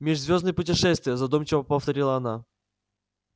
межзвёздные путешествия задумчиво повторила она